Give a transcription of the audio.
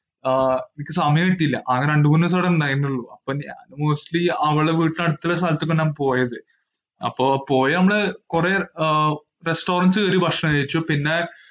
ആഹ് സമയം കിട്ടിയില്ല. ആകെ രണ്ടു മൂന്ന് ദിവസമേ എവിടെ ഉണ്ടായിരുന്നുള്ളു. mostly അവളുടെ വീടിന്റെ അടുത്ത് ഉള്ള സ്ഥലത്തൊക്കെയാ പോയത്. അപ്പോ പോയത് നമ്മൾ, കുറെ ആഹ് restaurant കേറി ഭക്ഷണത്തെ കഴിച്ചു, പിന്നെ.